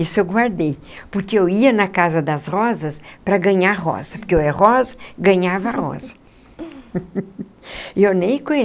Isso eu guardei, porque eu ia na Casa das Rosas para ganhar rosa, porque eu era rosa e ganhava rosa e eu nem